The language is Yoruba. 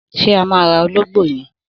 Sé a má ra ológbó yen?